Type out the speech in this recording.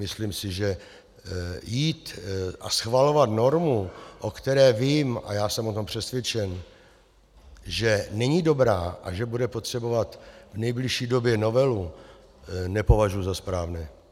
Myslím si, že jít a schvalovat normu, o které vím - a já jsem o tom přesvědčen -, že není dobrá a že bude potřebovat v nejbližší době novelu, nepovažuji za správné.